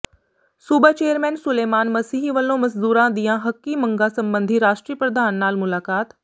ਸੂਬਾ ਚੇਅਰਮੈਨ ਸੁਲੇਮਾਨ ਮਸੀਹ ਵਲੋਂ ਮਜ਼ਦੂਰਾਂ ਦੀਆਂ ਹੱਕੀ ਮੰਗਾਂ ਸਬੰਧੀ ਰਾਸ਼ਟਰੀ ਪ੍ਰਧਾਨ ਨਾਲ ਮੁਲਾਕਾਤ